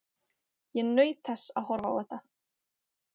Ég naut þess að horfa á þetta.